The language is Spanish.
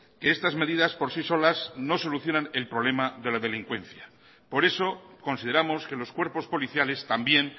que estas medidas por sí solas no solucionan el problema de la delincuencia por eso consideramos que los cuerpos policiales también